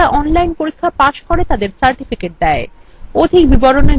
যারা online পরীক্ষা pass করে তাদের certificates দেয়